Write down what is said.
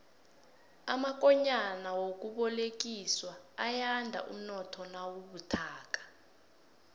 amakonyana wemali yokubolekiswa ayanda umnotho nawubuthakathaka